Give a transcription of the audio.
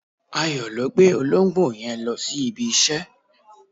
Ayo ló gbé olóńgbò yen lọ si ibi ise